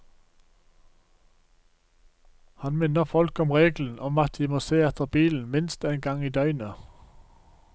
Han minner folk om regelen om at de må se etter bilen minst en gang i døgnet.